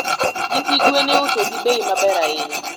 nyithi gen iuso gi bei maber ahinya